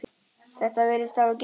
Þetta virðist hafa gengið eftir.